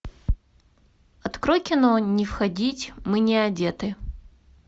открой кино не входить мы не одеты